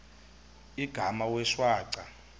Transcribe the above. igama wee shwaca